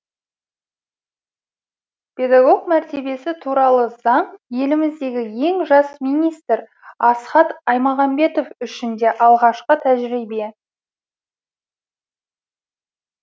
педагог мәртебесі туралы заң еліміздегі ең жас министр асхат аймағамбетов үшін де алғашқы тәжірибе